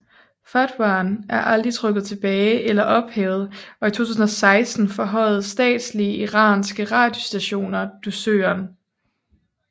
Fatwaen er aldrig trukket tilbage eller ophævet og i 2016 forhøjede statslige iranske radiostationer dusøren